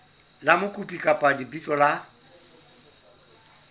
la mokopi kapa lebitso la